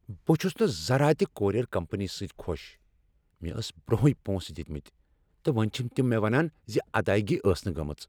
بہٕ چھس نہٕ ذرا تِہ کورئیر کمپنی سۭتۍ خوش۔ مےٚ ٲس برونٛہٕے پۄنٛسہٕ دِتمتۍ، تہٕ وۄنۍ چھ تم مےٚ ونان ز ادایگی ٲس نہ گمٕژ۔